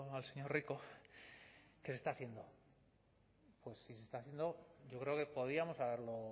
al señor rico que se está haciendo pues si se está haciendo yo creo que podíamos haberlo